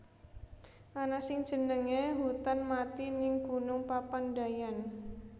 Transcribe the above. Ana sing jenenge hutan mati ning Gunung Papandayan